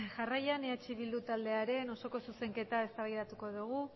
jarraian eh bildu taldearen osoko zuzenketa eztabaidatuko dugu